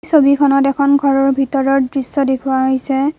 ছবিখনত এখন ঘৰৰ ভিতৰৰ দৃশ্য দেখুওৱা হৈছে।